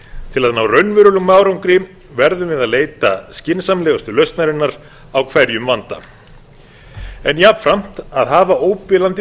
til að ná raunverulegum árangri verðum við að leita skynsamlegustu lausnarinnar á hverjum vanda en jafnframt að hafa óbilandi